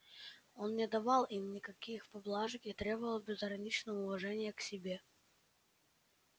он не давал им никаких поблажек и требовал безграничного уважения к себе